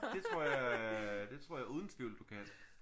Det tror jeg det tror jeg uden tvivl at du kan